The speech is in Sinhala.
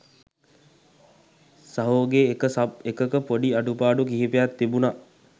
සහෝගෙ එක සබ් එකක පොඩි අඩුපාඩු කිහිපයක් තිබුණ